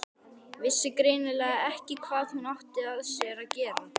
Vissi greinilega ekki hvað hún átti af sér að gera.